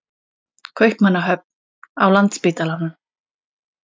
Kaupmannahöfn, á Landspítalanum.